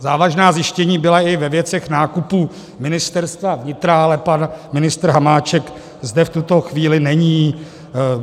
Závažná zjištění byla i ve věcech nákupů Ministerstva vnitra, ale pan ministr Hamáček zde v tuto chvíli není.